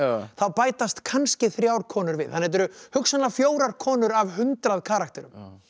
þá bætast kannski þrjár konur við þannig þetta eru hugsanlega fjórar konur af hundrað karakterum